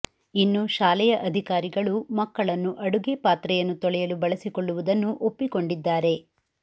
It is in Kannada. ಇನ್ನು ಶಾಲೆಯ ಅಧಿಕಾರಿಗಳು ಮಕ್ಕಳನ್ನು ಅಡುಗೆ ಪಾತ್ರೆಯನ್ನು ತೊಳೆಯಲು ಬಳಸಿಕೊಳ್ಳುವುದನ್ನು ಒಪ್ಪಿಕೊಂಡಿದ್ದಾರೆ